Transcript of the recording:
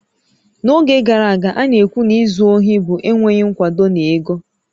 N'oge gara aga, a na-ekwu na izu ohi bụ enweghị nkwado na ego